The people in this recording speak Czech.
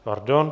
Pardon.